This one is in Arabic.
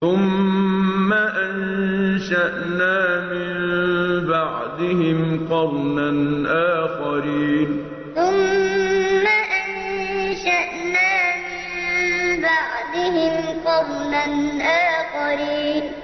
ثُمَّ أَنشَأْنَا مِن بَعْدِهِمْ قَرْنًا آخَرِينَ ثُمَّ أَنشَأْنَا مِن بَعْدِهِمْ قَرْنًا آخَرِينَ